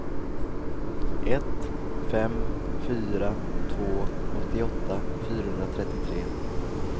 ett fem fyra två åttioåtta fyrahundratrettiotre